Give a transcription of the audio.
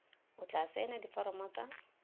o tla saenang diforomo tsa